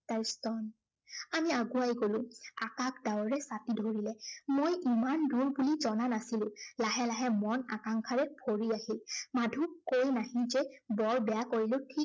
তাইৰ স্তন। আমি আগুৱাই গলো। আকাশ ডাৱৰে ছাটি ধৰিলে। মই ইমান দূৰ বুলি জনা নাছিলো। লাহে লাহে মন আকাংশাৰে ভৰি আহিল। মাধুক কৈ নাহি যে বৰ বেয়া কৰিলো ঠিক